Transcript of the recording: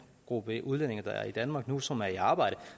gruppe udlændinge der er i danmark nu som er i arbejde